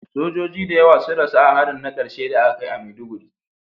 Sojoji da yawa sun rasu a harin na karshe da aka kai a Maiduguri